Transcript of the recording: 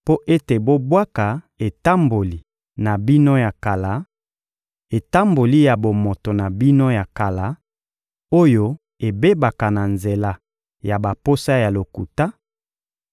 mpo ete bobwaka etamboli na bino ya kala, etamboli ya bomoto na bino ya kala, oyo ebebaka na nzela ya baposa ya lokuta,